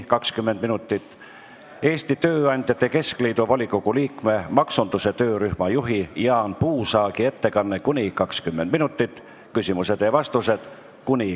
Järgneb Eesti Tööandjate Keskliidu volikogu liikme, maksunduse töörühma juhi Jaan Puusaagi ettekanne , siis on küsimused ja vastused .